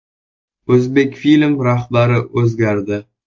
“O‘zbekfilm” rahbari o‘zgardi.